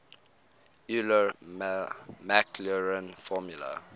euler maclaurin formula